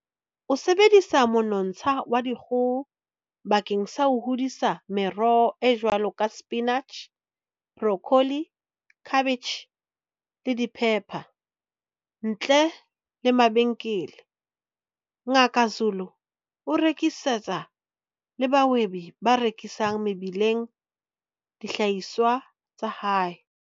O sebedisa monontsha wa dikgoho bakeng sa ho hodisa meroho e jwalo ka sepinitjhi, borokholi, khabetjhe, le diphepha. Ntle le mabenkele, Ngaka Zulu o rekisetsa le bahwebi ba rekisang mebileng dihlahiswa tsa hae.